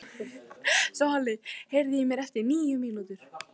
Svali, heyrðu í mér eftir níu mínútur.